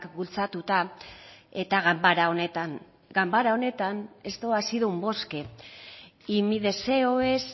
bultzatuta eta ganbara honetan ganbara honetan esto ha sido un bosque y mi deseo es